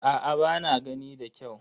Aa ba na gani da kyau.